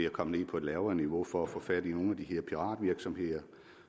komme ned på et lavere niveau for at få fat i nogle af de her piratvirksomheder